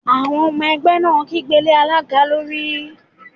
Àwọn ọmọ ẹgbẹ́ náà kígbe lé alága lórí